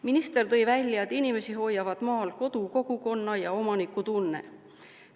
Minister tõi välja, et inimesi hoiavad maal kodu-, kogukonna- ja omanikutunne.